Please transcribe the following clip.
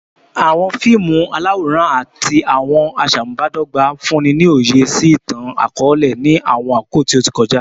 Awọn fiimu alaworan ati awọn aṣamubadọgba funni ni oye si itan-akọọlẹ ni awọn akoko ti o ti kọja